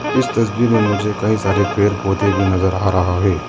इस तस्वीर में मुझे कई सारे पेड़ पौधे भी नजर आ रहा है।